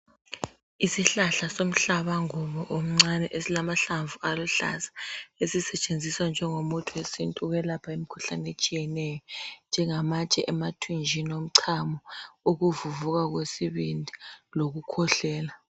Isihlahla somhlaba ngubo omncani esilamahlamvu esisetshenziswa ngengomuthi wesintu ukuyelapha imkhuhlane etshiyeneyo njengamatshe emathunjini omchamo ukuvuvuka kwesibindi lokukhwehlela